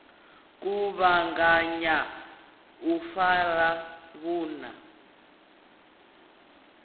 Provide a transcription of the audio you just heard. kuvhanganya na u fara vhunna